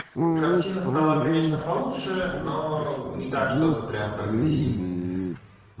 картина стала конечно получше но не так что бы прям прогрессивно